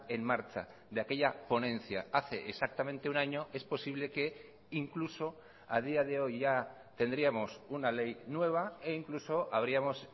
en marcha de aquella ponencia hace exactamente un año es posible que incluso a día de hoy ya tendríamos una ley nueva e incluso habríamos